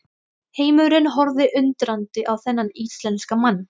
Heimurinn horfði undrandi á þennan íslenska mann.